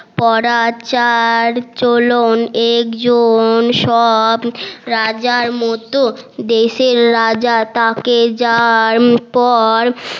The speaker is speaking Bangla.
পরার চালচলন একদম সব রাজার মতো দেশের রাজা তা কে পর